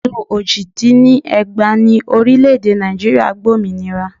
Ọdún ojì dín ní ẹgbàá ni orílẹ̀ èdè Nàìjíríà gba òmìnira